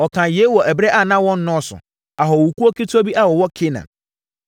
Ɔkaa yei wɔ ɛberɛ a na wɔnnɔɔso, ahɔhokuo ketewa bi a wɔwɔ Kanaan.